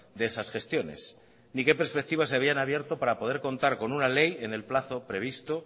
de esas gestiones ni qué perspectivas se habían abierto para poder contar con una ley en el plazo previsto